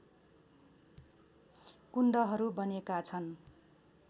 कुण्डहरू बनेका छन्